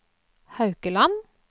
Haukeland